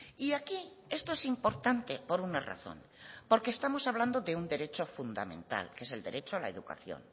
y aquí esto es importante por una razón porque estamos hablando de un derecho fundamental que es el derecho a la educación